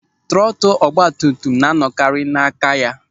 Trọtụl ọgbatumtum na anọkarị n'aka ya.